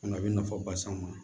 a bɛ nafaba s'an ma